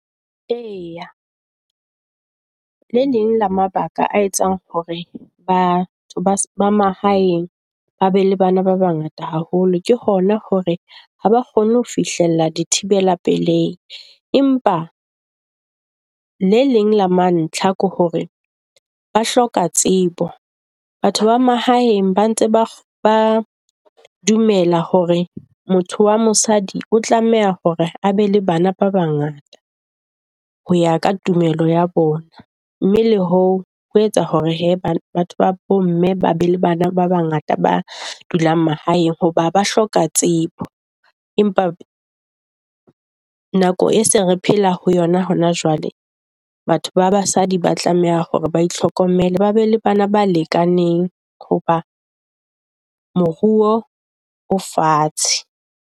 Eya, le leng le mabaka a etsang hore batho ba mahaeng ba be le bana ba bangata haholo ke hona hore ha ba kgone ho fihlella dithibela pelei, empa le leng la mantlha ke hore ba hloka tsebo. Batho ba mahaeng ba ntse ba ba dumela hore motho wa mosadi o tlameha hore a be le bana ba bangata ho ya ka tumelo ya bona. Mme le ho ho etsa hore batho ba bomme ba be le bana ba bangata ba dulang mahaeng hoba ba hloka tshepo, empa nako e se re phela ho yona hona jwale batho ba basadi ba tlameha hore ba itlhokomele. Ba be le bana ba lekaneng hoba moruo o fatshe.